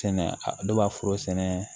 Sɛnɛ dɔ b'a foro sɛnɛ